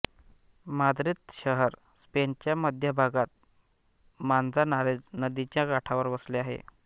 Madrid शहर स्पेनच्या मध्यभागात मांझानारेझ नदीच्या काठावर वसले आहे